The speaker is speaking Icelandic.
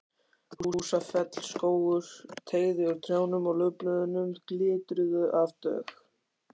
Húsafellsskógur teygði úr trjánum og laufblöðin glitruðu af dögg.